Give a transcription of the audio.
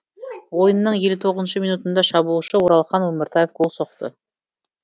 ойынның елу тоғызыншы минутында шабуылшы оралхан өміртаев гол соқты